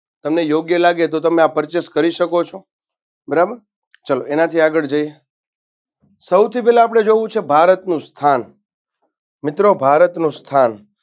તમને યોગ્ય લાગે તો તમે આ purchase કરી શકો છો બરાબર ચલો એનાથી આગળ જઈએ સૌથી પેલા આપણે જોવું છે ભારતનું સ્થાન મિત્રો ભારતનું સ્થાન